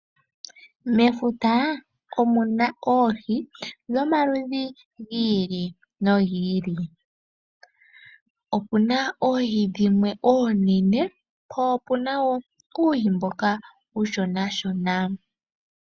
Mefuta omuna oohi dhomaludhi giili no giili, opuna oohi dhimwe oonene po opuna uuhi mboka uushona shona.